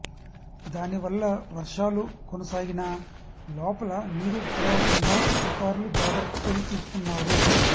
దానివల్ల వర్షాలు కొనసాగినా లోపల నీరు పెరగకుండా అధికారులు జాగ్రత్తలు తీసుకున్నారు